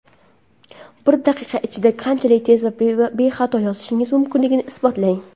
Bir daqiqa ichida qanchalik tez va bexato yozishingiz mumkinligini isbotlang!.